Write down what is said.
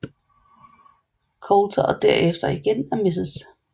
Coulter og derefter igen af Mrs